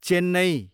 Chennai